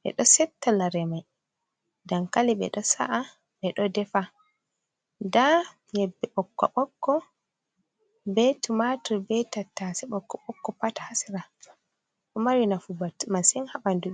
ɓe ɗo setta laremai. Dankali ɓe ɗo sa’a, ɓe ɗo defa. Nda nyebbe ɓokko-ɓokko be tumatur, be tattace ɓokko-ɓokko pat haa sera, ɗomari nafu masin haa ɓanndu.